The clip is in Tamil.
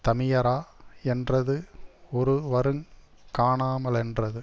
தமியரா யென்றது ஒருவருங் காணாமலென்றது